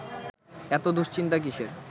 এত দুশ্চিন্তা কিসের